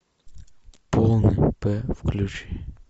полный п включи